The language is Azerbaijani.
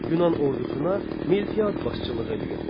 Yunan ordusuna Miltiad başçılığı eləyirdi.